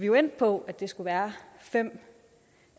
jo endt på at det skulle være fem